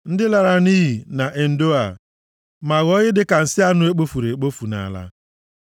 ndị lara nʼiyi nʼEndoa ma ghọọ ihe dịka nsị anụ e kpofuru ekpofu nʼala.